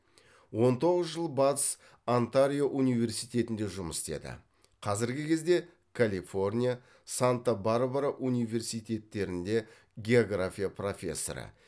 он тоғыз жыл батыс онтарио университетінде жұмыс істеді қазіргі кезде калифорния санта барбара университеттерінде география профессоры